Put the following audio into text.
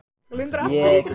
Hann kemur frá Breiðabliki.